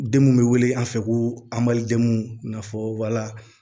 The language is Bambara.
Den mun be wele an fɛ ko anbajamu nafɔla